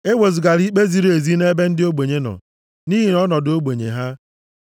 “Ewezugala ikpe ziri ezi nʼebe ndị ogbenye nọ, nʼihi ọnọdụ ogbenye ha.